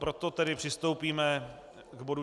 Proto tedy přistoupíme k bodu